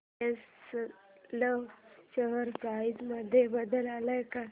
BSL share price मध्ये बदल आलाय का